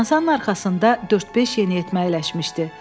Masanın arxasında dörd-beş yeniyetmə əyləşmişdi.